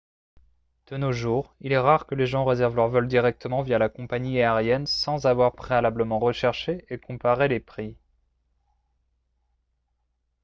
de nos jours il est rare que les gens réservent leur vol directement via la compagnie aérienne sans avoir préalablement recherché et comparé les prix